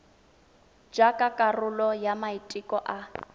jaaka karolo ya maiteko a